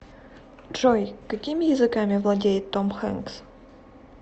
джой какими языками владеет том хенкс